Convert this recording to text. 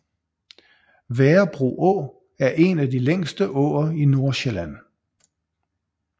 Værebro Å er en af de længste åer i Nordsjælland